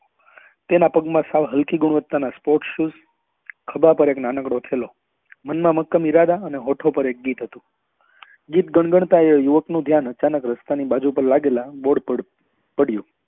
તેમાં પગ માં સાવ હલકી ગુણવત્તા ના sport shoes ખભા પર એક નાનકડો થેલો મન ના મક્કમ ઈરાદા અને હોઠો પર એક ગીત હતું ગીત ગણગણતા એ યુવક નું ધ્યાન અચાનક રસ્તા ની બાજુ માં લાગેલા bord પર પડ્યું